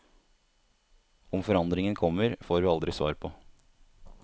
Om forandringen kommer, får vi aldri svar på.